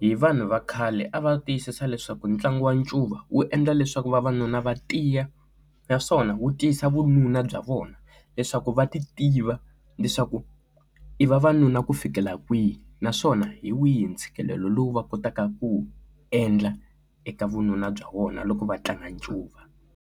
hi vanhu va khale a va tiyisisa leswaku ntlangu wa ncuva wu endla leswaku vavanuna va tiya naswona wu tisa vununa bya vona leswaku va ti tiva leswaku i vavanuna ku fikela kwihi naswona hi wihi ntshikelelo lowu va kotaka ku endla eka vununa bya vona loko va tlanga ncuva.